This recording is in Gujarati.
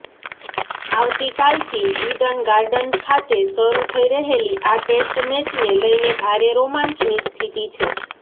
આવતીકાલથી ઇડન ગાર્ડન ખાતે શરૂ થઇ રહેલી આ ટેસ્ટ મેચને લઇને ભારે રોમાંચની સ્થિતિ છે